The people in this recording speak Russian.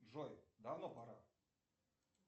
джой давно пора